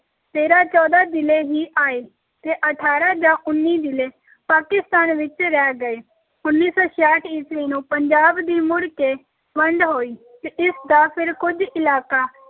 ਤੇਰਾਂ ਚੌਦਾਂ ਜ਼ਿਲ੍ਹੇ ਹੀ ਆਏ ਤੇ ਅਠਾਰਾਂ ਜਾਂ ਉੱਨੀ ਜ਼ਿਲ੍ਹੇ ਪਾਕਿਸਤਾਨ ਵਿੱਚ ਰਹਿ ਗਏ, ਉੱਨੀ ਸੌ ਛਿਆਹਠ ਈਸਵੀ ਨੂੰ ਪੰਜਾਬ ਦੀ ਮੁੜ ਕੇ ਵੰਡ ਹੋਈ ਤੇ ਇਸ ਦਾ ਫਿਰ ਕੁੱਝ ਇਲਾਕਾ